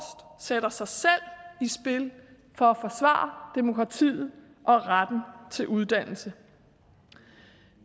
sætter sig selv i spil for at forsvare demokratiet og retten til uddannelse